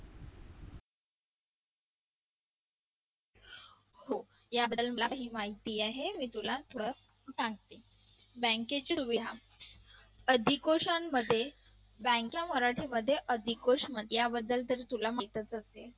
याबद्दल मला माहिती आहे मी तुला थोडं सांगते bank चे आधीकोशन मध्ये bank आधी कशाबद्दल तुला माहीतच असेल.